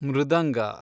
ಮೃದಂಗ